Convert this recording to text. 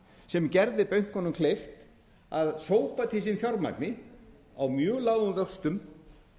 sem gerði bönkunum kleift að sópa til sín fjármagni á mjög lágum vöxtum